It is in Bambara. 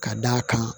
Ka d'a kan